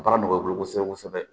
Baara nɔgɔya i bolo kosɛbɛ kosɛbɛ